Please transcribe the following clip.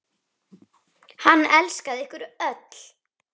Hann elskaði ykkur öll.